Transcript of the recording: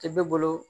Cɛ bɛ bolo